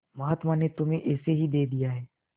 महात्मा ने तुम्हें ऐसे ही दे दिया है